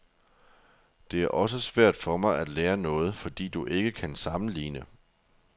Det er også svært for mig at lære noget, fordi du ikke kan sammenligne.